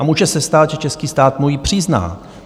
A může se stát, že český stát mu ji přizná.